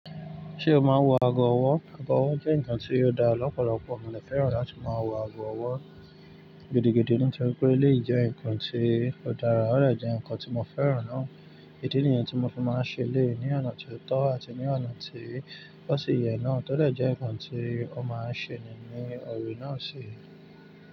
Ṣé o máa ń wọ ago ọwọ́? Ago ọwọ́ jẹ́ nǹkan tí ó da lọ́pọ̀lọpọ̀. Mo ní fẹ́ràn láti máa wọ ago ọwọ́ gidigidi nítorí pé lè yí jẹ́ ǹkan tí ó dára, ó rẹ̀ jẹ́ ǹkan tí mo fẹ́ràn náà. Idí niyen tí mo fi máa ń ṣe eléyii ní ọ̀nà tó tọ́ àti ní ọ̀nà tí ó sì yẹ náà tọ́ dẹ̀ jẹ́ ǹkan tí ó máa ń ṣe nínu ọ̀rẹ́ náà sì.